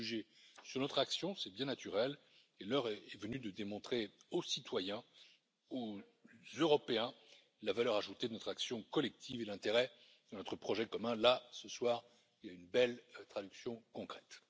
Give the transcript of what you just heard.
Nous sommes jugés sur notre action, c'est bien naturel, et l'heure est venue de démontrer aux citoyens, aux Européens, la valeur ajoutée de notre action collective et l'intérêt de notre projet commun, là ce soir, il y en a une belle traduction concrète.